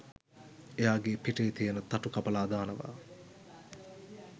එයාගේ පිටේ තියෙන තටු කපලා දානවා